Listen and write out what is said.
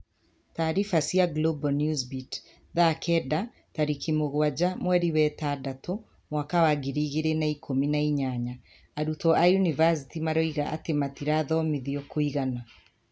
Taariba cia Global Newsbeat 15.00 07.06.2018 : Arutwo a yunivasĩtĩ maroiga atĩ matirathomithio kũigana.